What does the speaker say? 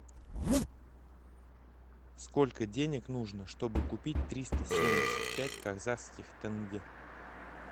сколько денег нужно чтобы купить триста семьдесят пять казахских тенге